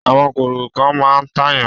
Àwọn kòkòrò kan máa ń tàyàn.